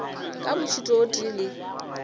ka mošito o tee le